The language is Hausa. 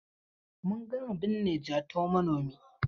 Mun gama binne Jatau manomi.